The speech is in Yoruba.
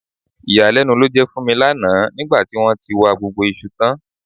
Ìyàlẹ́nu ló jẹ́ fún mi lánàá nígbà tí wọ́n tí wa gbogbo iṣu tán